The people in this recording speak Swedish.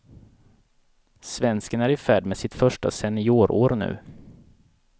Svensken är i färd med sitt första seniorår nu.